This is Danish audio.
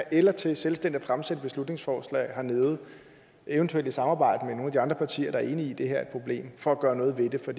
eller til selvstændigt at fremsætte et beslutningsforslag hernede eventuelt i samarbejde med andre partier der er enige i at det her er et problem for at gøre noget ved det for